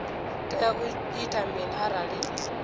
tea u ita mini arali